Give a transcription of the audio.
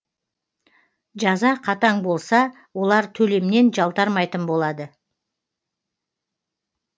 жаза қатаң болса олар төлемнен жалтармайтын болады